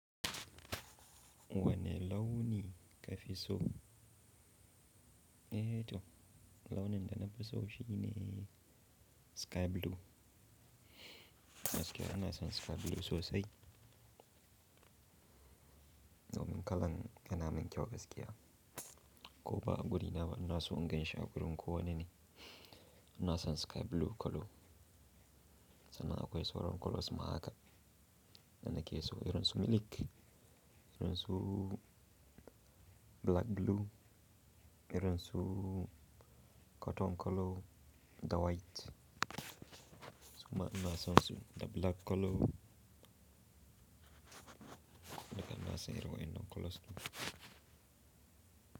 Wane launi ka fi so? Eh to launin da na fi so shi ne sky blue. Gaskiya ina son sky blue sosai. Domin kalan yana min kyau gaskiya. Ko ba a guri na ba ina so in ganshi a gurin ko wani ne. Ina son sky blue colour. Sannan akwai sauran colours ma haka. Dana ke so irin su milik, irin su black blue, irin su cotton colour da white. Suma ina son su da black colour. Duka ina son irin wa'innan colours ɗin.